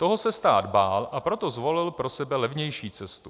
Toho se stát bál, a proto zvolil pro sebe levnější cestu.